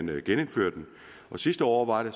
ville genindføre den sidste år var det